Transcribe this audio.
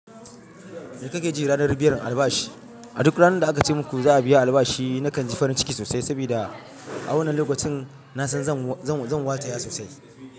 Me kake ji ranar biyan albashi? A duk ranar da aka ce muku za a biya albashi, nakan ji farin ciki sosai saboda a wannan lokacin na san zan-zan-zan wata ya sosai.